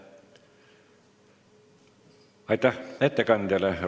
Aitäh ettekandjale!